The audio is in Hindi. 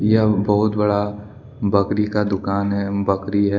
यह बहुत बड़ा बकरी का दुकान है अम बकरी है।